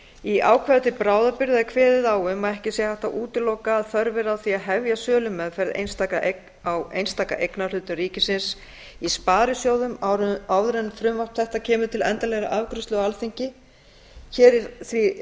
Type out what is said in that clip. í ákvæði til bráðabirgða er kveðið á um að ekki sé hægt að útiloka að þörf verði á því að hefja sölumeðferð á einstaka eignarhlutum ríkisins í sparisjóðum áður en frumvarp þetta kemur til endanlegrar afgreiðslu á alþingi hér er því